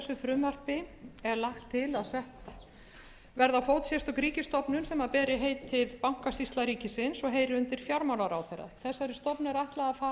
frumvarpi er lagt til að sett verði á fót sérstök ríkisstofnun sem beri heitið bankasýsla ríkisins og heyri undir fjármálaráðherra þessari stofnun er ætlað að fara